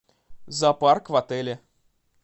зоопарк в отеле